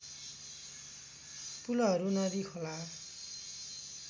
पुलहरू नदी खोला